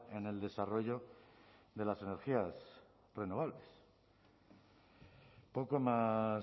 en el desarrollo de las energías renovables poco más